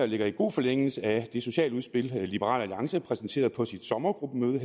ligger i god forlængelse af det sociale udspil liberal alliance præsenterede på sit sommergruppemøde